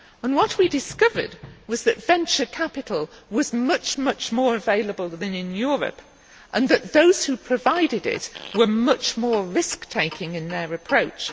What we discovered was that venture capital was much more available than in Europe, and that those who provided it were much more risk taking in their approach.